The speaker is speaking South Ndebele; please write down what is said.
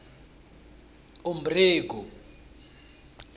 umberego